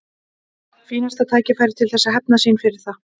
Fínasta tækifæri til þess að hefna fyrir það.